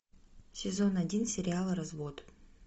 сезон один сериала развод